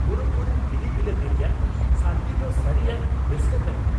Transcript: ᱯᱩᱨᱟᱹᱯᱩᱨᱤ ᱵᱤᱞᱤ ᱵᱤᱞᱟᱹᱛᱤ ᱨᱮᱭᱟᱜ ᱥᱟᱫᱜᱤ ᱫᱚ ᱥᱟᱹᱨᱤᱭᱟᱜ ᱨᱟᱹᱥᱠᱟᱹ ᱠᱟᱱᱟ ᱾